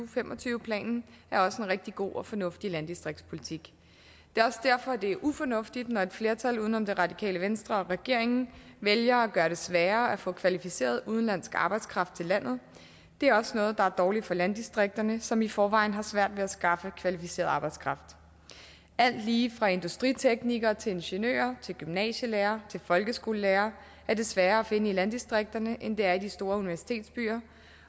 fem og tyve planen er også en rigtig god og fornuftig landdistriktspolitik det er også derfor det er ufornuftigt når et flertal uden om det radikale venstre og regeringen vælger at gøre det sværere at få kvalificeret udenlandsk arbejdskraft til landet det er også noget der er dårligt for landdistrikterne som i forvejen har svært ved at skaffe kvalificeret arbejdskraft alt lige fra industriteknikere til ingeniører gymnasielærere og folkeskolelærere er det sværere at finde i landdistrikterne end det er i de store universitetsbyer